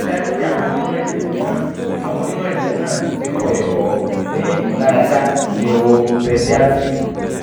rii daju pe awọn onimọ-jinlẹ naa awọn onimọ-jinlẹ naa ti kọ ẹkọ ni imularada neuro-pediatric